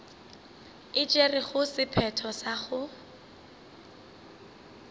e tšerego sephetho sa go